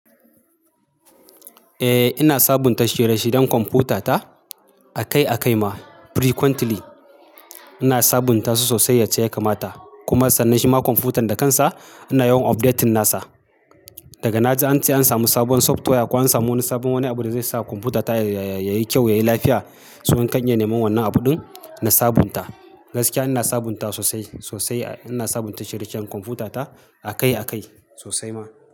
Eh ina sabunta shirye-shiryen kwamfutata akai-akai ma frequently. Ina sabunta su sosai yace ya kamata. Kuma sannan shima kwamfutan da kansa ina yawan updating nasa. Daga na ji ance an samu sabon software ko an samu wani sabon wani abu da zai sa kwamfutata yayi kyau, yayi lafiya, sau kan ye neman wannan abun na sabunta. Gaskiya ina sabunta sosai, sosai ina sabunta shirye-shiryen kwamfutata akai-akai sosai ma.